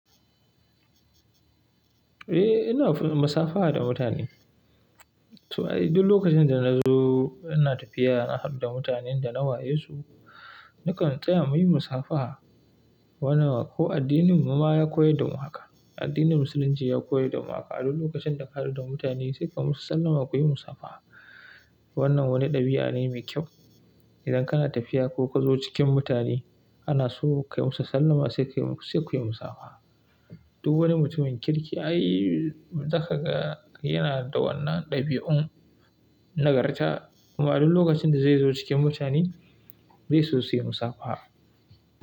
Eh, ina musafaha da mutane. To ai, duk lokacin da na zo, ina tafiya, na hadu da mutanen da na waye su, nakan saya muyi musafaha. Wannan ko addininmu ma ya koyar da mu haka. Addinin Musulunci ya koyar da mu haka. A duk lokacin da ka haɗu da mutane sai ka musu sallama, kuyi musafaha. Wannan wani ɗabi'a ne mai kyau. Idan kana tafiya ko ka zo cikin mutane, ana so ka yi musu sallama sai kuyi musafaha. Duk wani mutumin kirki, ai zakaga yana da wannan ɗabi'un nagarta. Kuma a duk lokacin da zai zo cikin mutane, zai so suyi musafaha.